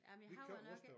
Ej men jeg har jo nok ikke